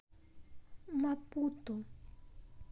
мапуту